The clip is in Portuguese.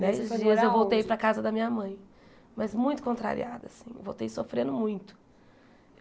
foi morar aonde Nesses dias eu voltei para a casa da minha mãe, mas muito contrariada assim, voltei sofrendo muito.